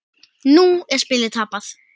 Nú er spilið tapað.